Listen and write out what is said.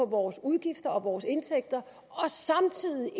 vores udgifter og vores indtægter samtidig